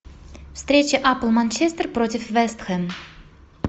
встреча апл манчестер против вест хэм